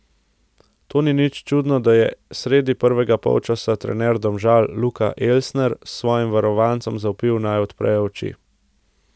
Tako ni prav nič čudno, da je sredi prvega polčasa trener Domžal Luka Elsner svojim varovancem zavpil, naj odprejo oči.